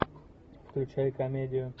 включай комедию